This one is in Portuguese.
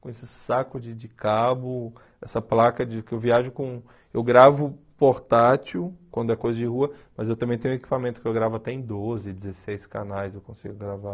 Com esse saco de de cabo, essa placa de que eu viajo com... Eu gravo portátil quando é coisa de rua, mas eu também tenho equipamento que eu gravo até em doze, dezesseis canais eu consigo gravar.